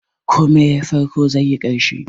Komai yayi farko, zaiyi ƙarshe.